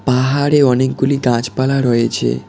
পাহাড়ে অনেকগুলি গাছপালা রয়েছে।